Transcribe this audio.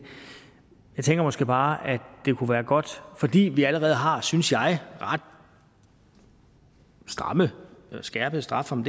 jeg tænker måske bare fordi vi allerede har synes jeg ret stramme og skærpede strafferammer